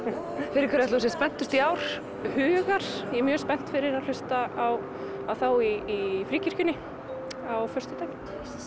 hverju ætli þú sért spenntust í ár hugar ég er mjög spennt fyrir að hlusta á þá í Fríkirkjunni á föstudaginn